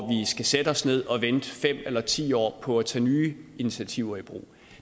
skal sætte os ned og vente fem eller ti år på at tage nye initiativer i brug